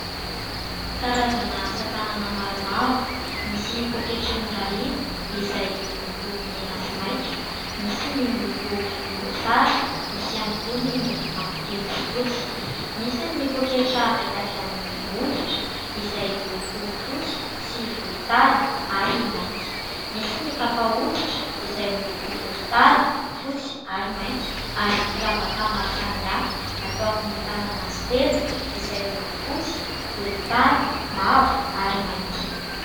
Karazana asa tanana maromaro : misy pôketra norariana izay miloko mena sy maitso, misy ny miloko volomboasary, misy ihany koa ny miloko mavokely sy fotsy ; misy ny pôketra vita avy amin'ny hoditra izay miloko fotsy sy volontany ary mainty ; misy ny kapa hoditra izay miloko volontany, fotsy ary mainty ; ary firavaka maro samihafa atao amin'ny tanana sy tenda izay miloko fotsy, volontany, mavo ary mainty.